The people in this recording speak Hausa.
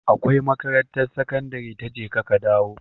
Akwai makarantar sakandari ta jeka ka dawo